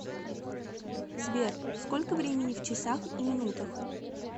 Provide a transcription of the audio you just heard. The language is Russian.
сбер сколько времени в часах и минутах